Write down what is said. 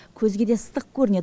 көзге де ыстық көрінеді